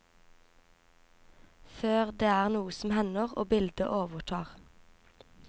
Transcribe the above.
Før det er noe som hender, og bildet overtar.